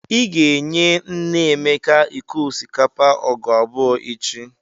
Ị ga-enye nne Emeka iko osikapa ọgụ abụọ echi!